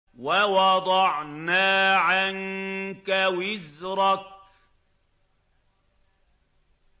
وَوَضَعْنَا عَنكَ وِزْرَكَ